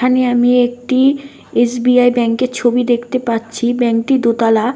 এখানে আমি একটি এস.বি..আই. ব্যাংক -এর ছবি দেখতে পাচ্ছি। ব্যাঙ্ক -টি দোতালা।